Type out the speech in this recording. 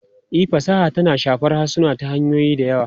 E, fasaha tana shafar harsuna ta hanyoyi da yawa.